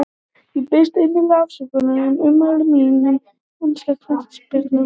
Ég biðst innilegrar afsökunar á ummælum mínum um enska knattspyrnusambandið.